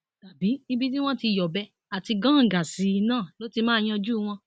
tàbí ibi tí wọn ti yọbẹ àti gàǹgà sí i náà ló ti máa yanjú wọn